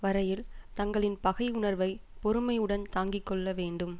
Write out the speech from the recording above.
வரையில் தங்களின் பகையுணர்வைப் பொறுமையுடன் தாங்கி கொள்ள வேண்டும்